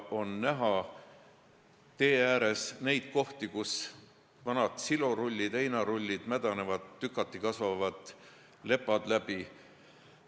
Tee ääres on näha kohti, kus vanad silorullid ja heinarullid mädanevad, tükati kasvavad lepad läbi.